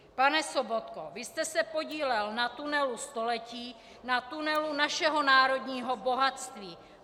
Pane Sobotko, vy jste se podílel na tunelu století, na tunelu našeho národního bohatství.